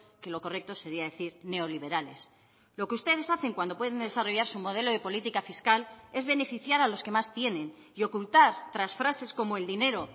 que lo correcto sería decir neoliberales lo que ustedes hacen cuando pueden desarrollar su modelo de política fiscal es beneficiar a los que más tienen y ocultar tras frases como el dinero